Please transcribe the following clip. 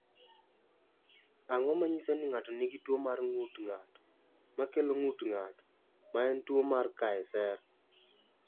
Ang’o ma nyiso ni ng’ato nigi tuwo mar ng’ut ng’ato, ma kelo ng’ut ng’ato, ma en tuwo mar Kaeser?